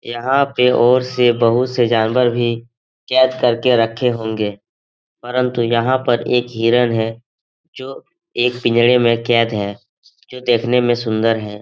यहां पे और से बहुत से जानवर भी कैद करके रखे होंगे परन्तु यहां पर एक हिरण है जो एक पिंजरे में कैद है जो देखने में सुन्दर है।